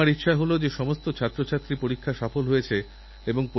আমার আশা আপনারাও স্বদেশপ্রেমের প্রেরণায় কিছু না কিছুভালো কাজ করবেন